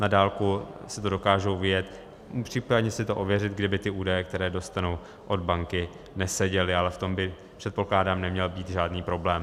Na dálku si to dokážou vyjet, případně si to ověřit, kdyby ty údaje, které dostanou od banky, neseděly, ale v tom by, předpokládám, neměl být žádný problém.